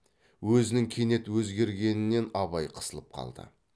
өзінің кенет өзгергенінен абай қысылып қалды